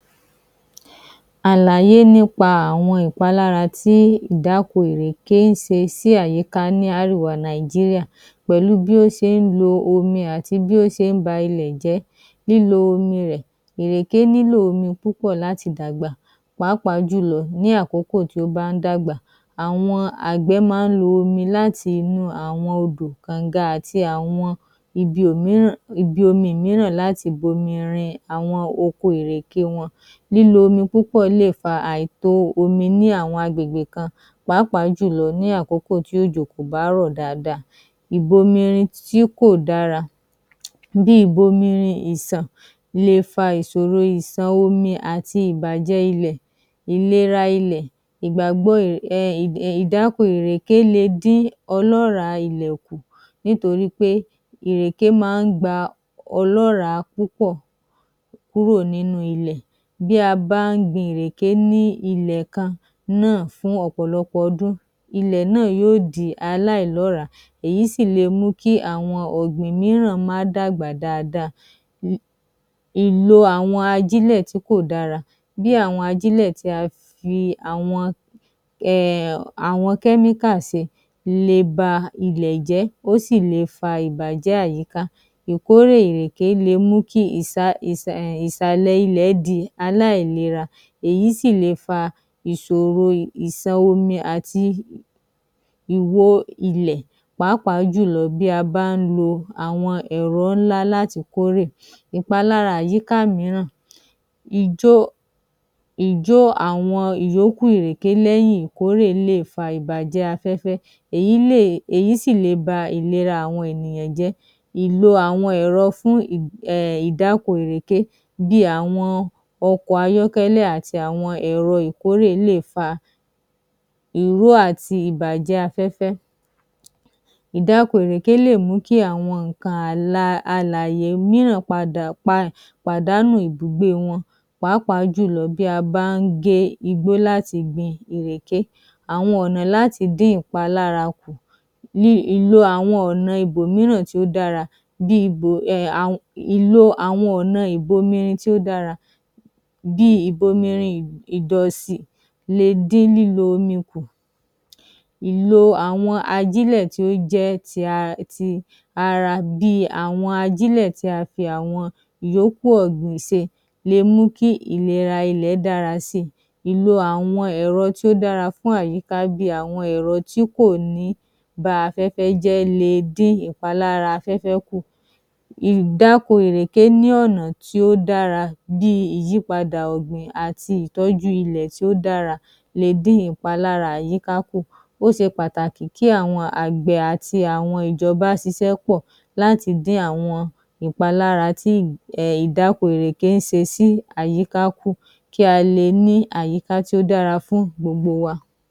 Àlàyé nípa àwọn ìpalára tí ìdáko ìrèké ń se sí àyíká ní árèwá nàìjíríà, pẹ̀lú bí ó se ń lo omi àti bí ó se ń ba ilè jẹ́. Lílo omi rẹ̀, ìrèké nílò omi púpò láti dàgbà pàápàá jùlọ ní àkókò tí ó bá ń dàgbà, àwọn àgbẹ̀ máa ń lo omi láti inú àwọn odò, kòǹga àti àwọn ibi òmíràn, ibi omi ìmíràn láti bo omi rin àwọn oko ìrèké wọn. Lílo omi púpọ̀ lè fa àìtó omi ni àwọn agbègbè kan pàápàá jùlọ ní àkókò tí òjò kò bá rọ̀ dáadáa, ìbomirin tí kò dára, bíi ìbomirin ìsàn le fa ìsòro ìsàn omi àti ìbàjẹ́ ilẹ̀, ìlera ilẹ̀, ìgbàgbọ um ìdáko ìrèké le dín ọlọ́ra ilẹ̀ ku nítorípé ìrèké máa ń gba ọlọ́ra púpọ̀ kúrò nínú ilé. Bí a bá ń gbin ìrèké ní ilẹ̀ kan náà fún ọ̀pọ̀lọpọ̀ ọdún, ilẹ̀ náà yóò di aláìlọ́ràà, èyí sì le mú kí àwọn ọ̀gbìn mìíràn máá dàgbà dáadáa. Ìlò àwọn ajílẹ̀ tí kò dára bí àwọn ajílẹ̀ tí a fi àwọn um àwọn síi le ba ilè jẹ́, ó sì le fa ìbàjẹ́ àyíká. Ìkórè ìrèké le mú kí ìsa, um ìsàlẹ̀ ilẹ̀ di aláìlera, èyí sì le fa ìsòro ìsàn omi àti ìwó ilè, pàápàá jùlọ bí a bá ń lo áwọn ẹ̀rọ ńlá láti kórè. Ìpalára àyíká ìmíràn, ìjó, ìjó àwọn ìyókù ìrèké lẹ́yìn ìkórè lè fa ìbàjẹ́ afẹ́fẹ́, èyí lè, èyí sì le ba ìlera àwọn ènìyàn jẹ́. Ìlò àwọn ẹ̀ro fún um ìdáko ìrèké bí àwọn ọkọ̀ ayọ́kẹ́lẹ́ àti àwọn ẹ́rọ ìkórè lè fa ìrú àti ìbàjẹ́ afẹ́fẹ́. Ìdáko ìrèké lè mú kí àwọn ńǹkan àla, alàyè mìíràn padà, pa, pàdánù ìbùgbé wọn. Pàápàá jùlọ bí a bá ń gé igbó láti gbin ìrèké. Àwọn ọ̀nà láti dín ìpalára kù um ìlò àwọn ọ̀nà ibòmíràn tí ó dára bí ibù um ìlò àwọn ìbomirin tí ó dára, bí ìbomirin ìdọ̀sì le dín lílo omi kù. Ìlò àwọn ajílẹ̀ tí ó jẹ́ tí um tí ara bí àwọn ajílẹ̀ tí a fi àwọn ìyókù ọ̀gbìn se, le mú kí ìlera ilẹ̀ dára síi. Ìlò àwọn ẹ̀rọ tí ó dára fún àyíká bí àwọn ẹ̀rọ tí kò ní ba afẹ́fẹ́ jẹ́ le dín ìpalára afẹ́fẹ́ kù. Ìdáko ìrèké ní ọ̀nà tí ó dára bí ìyípadà ọ̀gbìn àti ìtọjú ilẹ̀ tí ó dára le dín ìpalára àyíká kù. Ó se pàtàkì kí àwọn àgbẹ̀ àti àwọn ìjọba sisẹ̀ pọ̀ láti dín àwọn ìpalára tí um ìdáko ìrèké ń se sí àyíká kù, kí á le ni àyíká tí ó dára fún gbogbo wa.